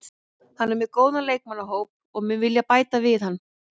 Hann er með góðan leikmannahóp og mun vilja bæta við hann.